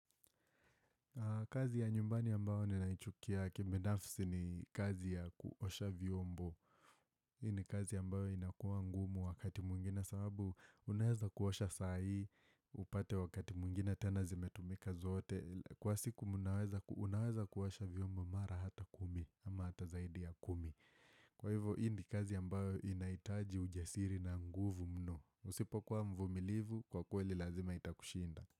Kazi ya nyumbani ambayo ninaichukia kibinafsi ni kazi ya kuosha vyombo. Hii ni kazi ambayo inakuwa ngumu wakati mwingine sababu unaweza kuosha saai, upate wakati mwingine tena zimetumika zote. Kwa siku unaweza kuosha vyombo mara hata kumi ama hata zaidi ya kumi. Kwa hivo hii ni kazi ambayo inahitaji ujasiri na nguvu mno. Usipo kuwa mvumilivu, kwa kweli lazima itakushinda.